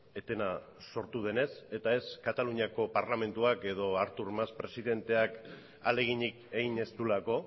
etena sortu denez eta ez kataluniako parlamentuak edo artur mas presidenteak ahaleginik egin ez duelako